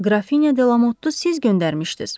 Qrafinya Delamotdu siz göndərmişdiz.